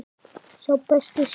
Sá besti segir hún.